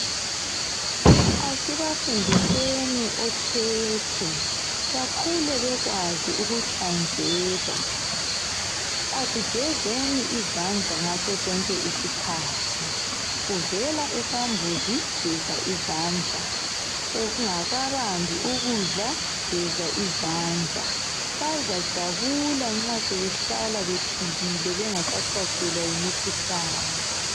Asibafundiseni okhekhe bakhule bekwazi ukuhlanzeka. Asigezeni izandla ngaso sonke isikhathi uvela esambuzi geza izandla, ungakabambi ukudla geza izandla bazajabula nxa sebehlala bephilile bengasahlaselwa yimukhuhlane.